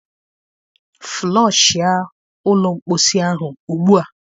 Floshia ụlọ mposi ahụ ugbu a!